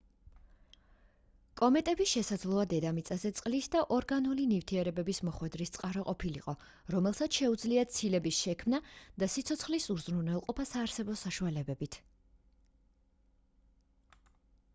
კომეტები შესაძლოა დედამიწაზე წყლის და ორგანული ნივთიერებების მოხვედრის წყარო ყოფილიყო რომელსაც შეუძლია ცილების შექმნა და სიცოცხლის უზრუნველყოფა საარსებო საშუალებებით